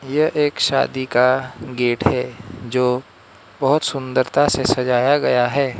यह एक शादी का गेट है जो बहोत सुंदरता से सजाया गया है।